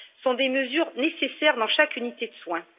sont des mesures nécessaires dans chaque unité de soins.